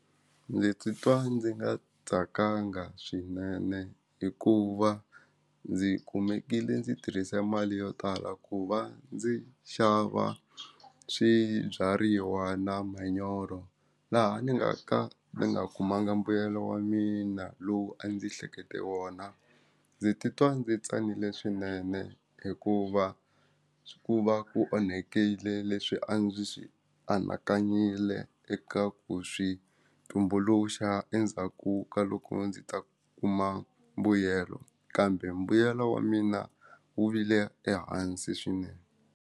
Ndzi titwa ndzi nga tsakanga swinene hikuva ndzi kumekile ndzi tirhise mali yo tala ku va ndzi xava swibyariwa na manyoro laha ni nga ka ni nga kumanga mbuyelo wa mina lowu a ndzi hlekete wona ndzi titwa ndzi tsanile swinene hikuva ku va ku onhakile leswi a ndzi swi anakanyile eka ku switumbuluxaka endzhaku ka loko ndzi ta kuma mbuyelo kambe mbuyelo wa mina wu vile ehansi swinene.